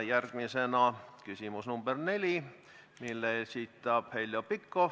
Järgmisena küsimus nr 4, mille esitab Heljo Pikhof.